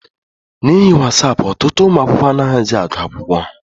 N'ihi wasapụ, ọtụtụ ụmụ akwụkwọ anaghịzị agụ akwụkwọ ha.